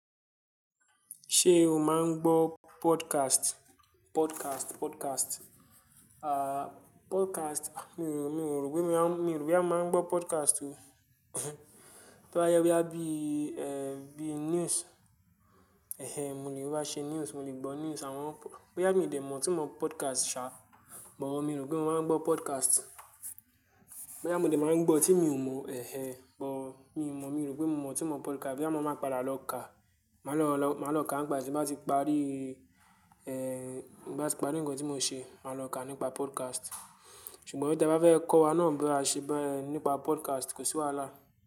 Ṣe o máa ń gbọ́ podcast? Podcast, podcast, podcast. À, podcast, mi ò rò, mi ò rò pé, mi rò pé a máa ń gbọ́ podcast o. Tó bá yẹ bí, ẹ́, bí news. Ehen mo lè wá ṣe news, mo lè gbọ́ news. Àwọn, boya mi ò dé mọ̀ tí mọ itunmo podcast ṣá. But, mi rò pé mọ́ máa ń gbọ́ podcast. Boya mò dé máa ń gbọ́ tí mi ò mọ, ẹhen. But mi ò mọ̀, mi rò pé mò mọ̀ tí mọ itunmo podcast. Boya mọ̀ máa padà lọ ká. Màá lọ, máa lọ ká nípa tí bá ti parí, ẹ́, bá ti parí ńkan tí mò ń ṣe, màá lọ ká nípa podcast. Ṣùgbọ́n ti é bá fẹ́ kọ́ wa náà bí a ṣe ẹ nípa podcast kò sí wàhálà.